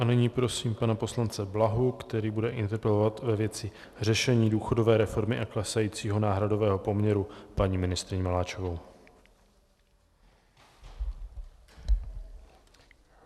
A nyní prosím pana poslance Blahu, který bude interpelovat ve věci řešení důchodové reformy a klesajícího náhradového poměru paní ministryni Maláčovou.